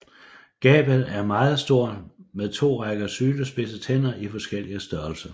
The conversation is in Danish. Gabet er meget stort med to rækker sylespidse tænder i forskellig størrelse